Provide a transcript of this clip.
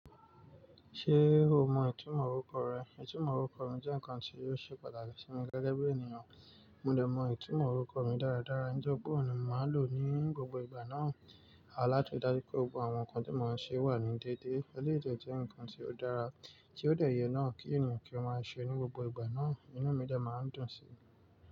Ṣé o mọ ìtumọ̀ orúkọ rẹ? Ìtumọ̀ orúkọ mi jẹ́ ǹkan tí yóò ṣe pàtàkì sí mi gẹ́gẹ́ bí ènìyàn. Mo de mọ ìtumọ̀ orúkọ mi dára dára, nítori pe oun ni màá lòó ní gbogbo ìgbà náà. A láti dá ri daju pé gbogbo àwọn ǹkan tí mo ń ṣe wà ní dédé. Ẹlẹ́yi de jẹ́ ǹkan tí ó dára, tí ó dà yẹ náà kí ènìyàn kí ó máa ṣe ní gbogbo ìgbà náà. Inú mi de máa ń dùn sí i.